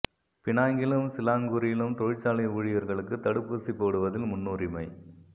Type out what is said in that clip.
பினாங்கிலும் சிலாங்கூரிலும் தொழிற்சாலை ஊழியர்களுக்கு தடுப்பூசி போடுவதில் முன்னுரிமை